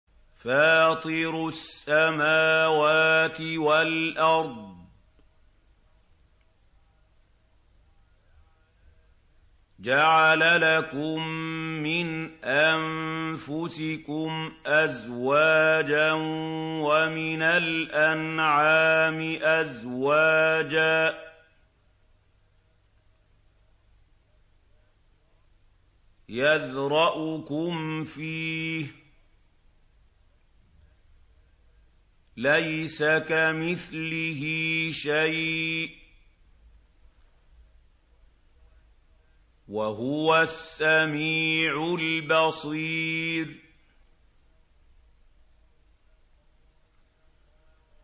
فَاطِرُ السَّمَاوَاتِ وَالْأَرْضِ ۚ جَعَلَ لَكُم مِّنْ أَنفُسِكُمْ أَزْوَاجًا وَمِنَ الْأَنْعَامِ أَزْوَاجًا ۖ يَذْرَؤُكُمْ فِيهِ ۚ لَيْسَ كَمِثْلِهِ شَيْءٌ ۖ وَهُوَ السَّمِيعُ الْبَصِيرُ